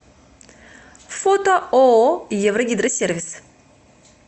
фото ооо еврогидросервис